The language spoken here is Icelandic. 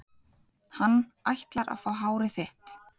Hann ætlar að fá hárið þitt.